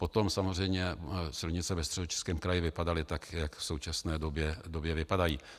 Potom samozřejmě silnice ve Středočeském kraji vypadaly tak, jak v současné době vypadají.